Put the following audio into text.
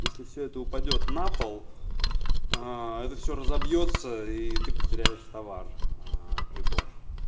если все это упадёт на пол это все разобьётся и ты потеряешь товар прибор